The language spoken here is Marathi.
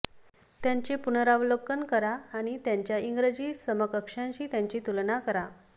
त्यांचे पुनरावलोकन करा आणि त्यांच्या इंग्रजी समकक्षांशी त्यांची तुलना करा